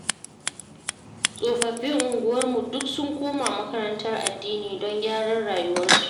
Tsofaffin unguwarmu duk sun koma makarantar addini, don gyaran rayuwarsu.